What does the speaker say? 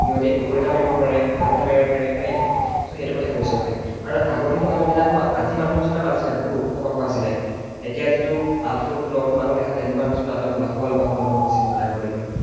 সিহতে কুকুৰ এটা মাৰিব পাৰে, বাঘ এটা মাৰিব পাৰে right? সেইটো কথা কৈছো মানে। আৰু আগৰ দিনৰ মানুহ বিলাক ন আজিৰ মানুহৰ নিচিনা নাছিলে বহুত ওখ পাখ আছিলে। এতিয়া যিটো আঠ ফুট ন ফুট মানুহ দেখা তেনেকুৱা নিচিনা একদম লাহোৱাল পাহোৱাল মানুহ আছিলে মানে আগৰ দিনত।